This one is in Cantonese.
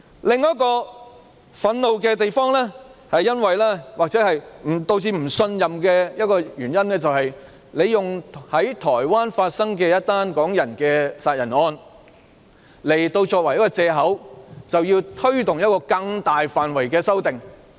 另一令人感到憤怒之處，或是導致不信任的原因，就是當局以一宗港人在台灣殺人的案件作借口，推動一項更大範圍的修訂。